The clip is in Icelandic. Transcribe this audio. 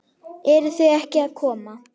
Eruð þið ekki að koma?